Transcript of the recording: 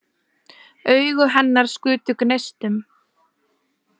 Augu hennar skutu gneistum.